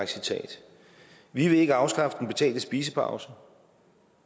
citat vi vil ikke afskaffe den betalte spisepause